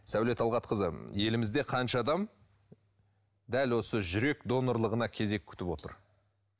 сәуле талғатқызы елімізде қанша адам дәл осы жүрек донорлығына кезек күтіп отыр